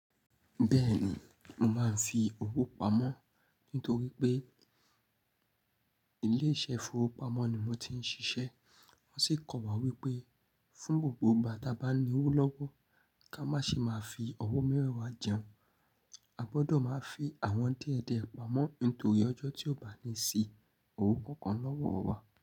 Bẹ́ẹ̀ni, mo máa ń fi owó pamọ́ nítorí pé ilé iṣẹ́ ìfowópamọ́ ni mo ti ń ṣiṣẹ́. Wọ́n sì kọ́ wa wípé fún gbogbo ìgbà tí a bá ní owó lọ́wọ́, kí a má ṣe máa fi owó mẹ́wàá jẹun, a gbọ́dọ̀ máa fi àwọn díẹ̀ díẹ̀ pamọ́ nítorí ọjọ́ tí ó bá ní sí owó kankan lọ́wọ́ wa.